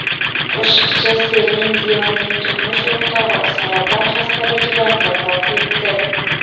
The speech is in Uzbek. Qo‘shiqchi Selin Dionning turmush o‘rtog‘i saraton xastaligidan vafot etdi.